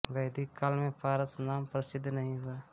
वैदिक काल में पारस नाम प्रसिद्ध नहीं हुआ था